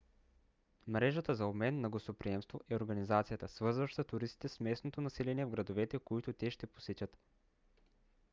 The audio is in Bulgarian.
мрежата за обмен на гостоприемство е организацията свързваща туристите с местното население в градовете които те ще посетят